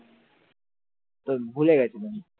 তো ভুলে গিয়েছিলাম ।